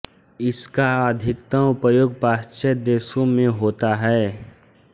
इसका अधिकतम उपयोग पाश्चात्य देशों में होता है